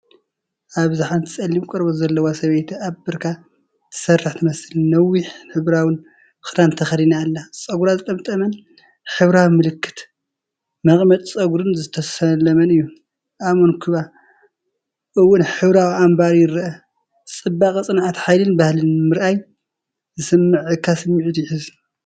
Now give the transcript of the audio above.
ኣበዚ ሓንቲ ጸሊም ቆርበት ዘለዋ ሰበይቲ ኣብ ብርካ ትሰርሕ ትመስል። ነዊሕን ሕብራዊን ክዳን ተኸዲና ኣላ። ጸጉራ ዝተጠምጠመን ብሕብራዊ ምልክትን መቐመጢ ጸጉርን ዝተሰለመን እዩ። ኣብ መንኵባ እውን ሕብራዊ ኣምባር ይርአ። ጽባቐ ጽንዓት/ሓይልን ባህልን ምርኣይ ዝስምዓካ ስምዒት ይሕዝ።